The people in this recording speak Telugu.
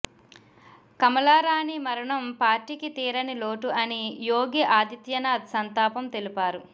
కమలారాణి మరణం పార్టీకి తీరనిలోటు అని యోగి ఆదిత్యనాథ్ సంతాపం తెలిపారు